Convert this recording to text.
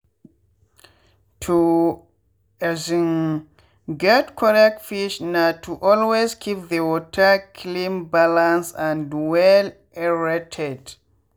to um get correct fish na to always keep the water cleanbalance and well-aerated.